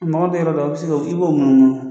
tɛ yɔrɔ dɔ la i bɛ se ka i b'o munu munu.